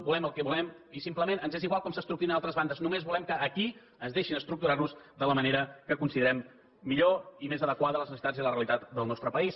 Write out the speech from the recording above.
volem el que volem i simplement ens és igual com s’estructurin a altres bandes només volem que aquí ens deixin estructurar de la manera que considerem millor i més adequada a les necessitats i a la realitat del nostre país